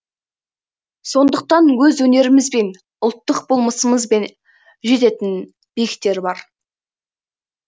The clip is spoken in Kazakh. сондықтан өз өнерімізбен ұлттық болмысымызбен жететін биіктер бар